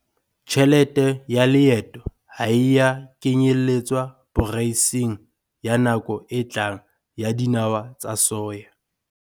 Tjhelete ya leeto ha e a kenyeletswa poreisng ya nako e tlang ya dinawa tsa soya.